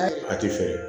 A ti fɛ